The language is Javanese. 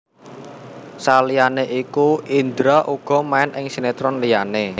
Saliyané iku Indra uga main ing sinetron liyané